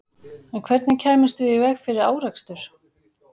En hvernig kæmum við í veg fyrir árekstur?